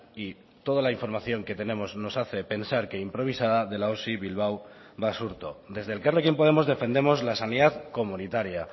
y toda la información que tenemos nos hace pensar que improvisada de la osi bilbao basurto desde elkarrekin podemos defendemos la sanidad comunitaria